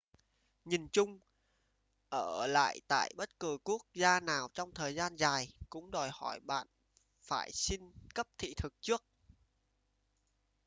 nhìn chung ở lại tại bất cứ quốc gia nào trong thời gian dài cũng đòi hỏi bạn phải xin cấp thị thực trước